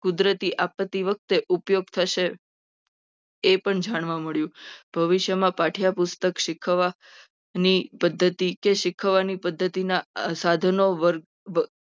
કુદરતી આપત્તિ વખતે ઉપયોગ થશે. એ પણ જાણવા મળ્યું. તો હવે આ વિષયમાં પાઠ્યપુસ્તક શીખવાની પદ્ધતિ અથવા પદ્ધતિ માટે પદ્ધતિના સાધનો